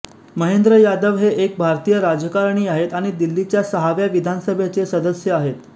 महेंद्र यादव हे एक भारतीय राजकारणी आहेत आणि दिल्लीच्या सहाव्या विधानसभेचे सदस्य आहेत